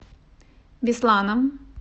бесланом